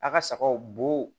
A ka sagaw bo